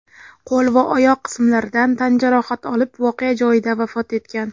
qo‘l va oyoq qismlaridan tan jarohati olib voqea joyida vafot etgan.